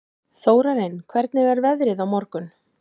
Þórarinn, hvernig er veðrið á morgun?